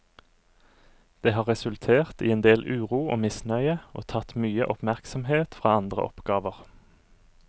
Det har resultert i en del uro og misnøye og tatt mye oppmerksomhet fra andre oppgaver.